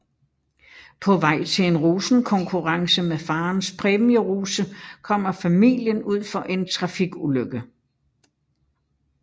På vej til en rosenkonkurrence med farens præmierose kommer familien ud for en trafikulykke